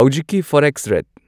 ꯍꯧꯖꯤꯛꯀꯤ forex rate